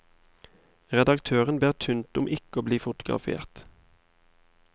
Redaktøren ber tynt om ikke å bli fotografert.